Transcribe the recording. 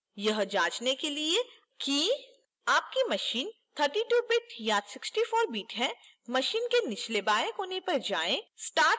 यह जांचने के लिए कि आपकी machine 32bit या 64bit है machine के निचले बाएं कोने पर जाएं